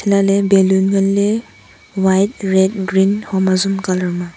elah ley balloon ngan ley white red green hom azom colour ma.